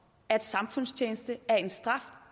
at